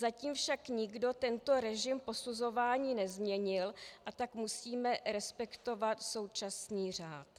Zatím však nikdo tento režim posuzování nezměnil, a tak musíme respektovat současný řád.